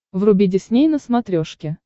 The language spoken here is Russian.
вруби дисней на смотрешке